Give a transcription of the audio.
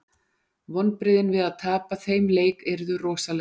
Vonbrigðin við að tapa þeim leik yrðu rosaleg.